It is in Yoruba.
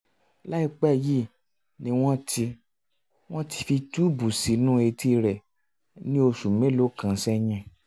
láìpẹ́ yìí ni wọ́n ti wọ́n ti fi túùbù sínú etí rẹ̀ ní oṣù mélòó um kan um sẹ́yìn